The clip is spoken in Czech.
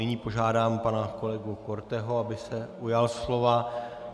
Nyní požádám pana kolegu Korteho, aby se ujal slova.